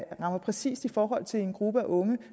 rammer præcist i forhold til en gruppe af unge